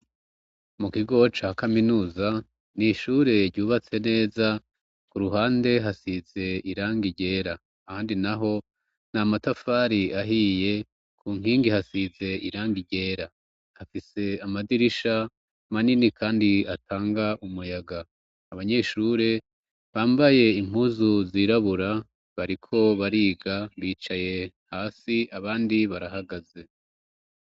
Mu kigo ca kaminuza ni ishure ryubatse neza ku ruhande hasize iranga iryera handi na ho ni amatafari ahiye ku nkingi hasize iranga iryera hafise amadirisha manini, kandi atanga umuyaga abanyeshure ambaye impuzu zirabura bariko bariga bicaye hasi abandi barahagaze.